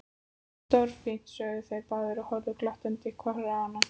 Stórfínt sögðu þeir báðir og horfðu glottandi hvor á annan.